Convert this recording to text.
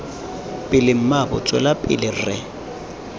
pele mmaabo tswela pele re